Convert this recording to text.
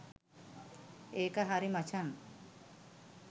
ඒක හරි මචං